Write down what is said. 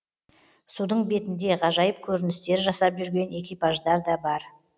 судың бетінде ғажайып көріністер жасап жүрген экипаждар да бар